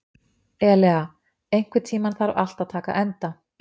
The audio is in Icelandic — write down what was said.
Elea, einhvern tímann þarf allt að taka enda.